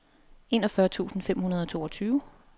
enogfyrre tusind fem hundrede og toogtyve